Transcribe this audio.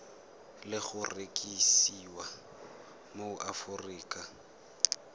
le go rekisiwa mo aforika